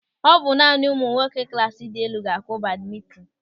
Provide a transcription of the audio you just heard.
Ọ bụ naanị ụmụ nwoke klasị dị elu ga-akụ badmintin.